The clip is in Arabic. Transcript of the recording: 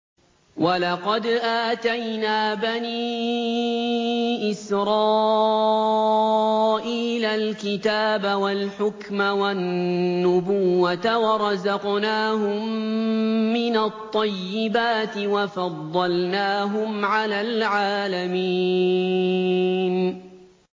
وَلَقَدْ آتَيْنَا بَنِي إِسْرَائِيلَ الْكِتَابَ وَالْحُكْمَ وَالنُّبُوَّةَ وَرَزَقْنَاهُم مِّنَ الطَّيِّبَاتِ وَفَضَّلْنَاهُمْ عَلَى الْعَالَمِينَ